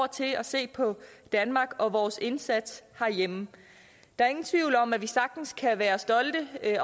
til at se på danmark og vores indsats herhjemme der er ingen tvivl om at vi sagtens kan være stolte af